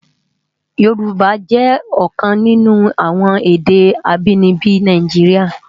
Yorùbá jè òkan ninú awòn èdè ábìníbi Náijiriá